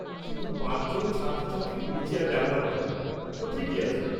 পাঁচজন ছাত্রছাত্রী হুইলচেয়ার ব্যবহার করে। তো, ঠিকই আছে।